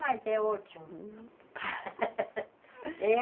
Mas é ótimo. Hum...